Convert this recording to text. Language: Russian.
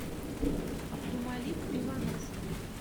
абдумалик иванов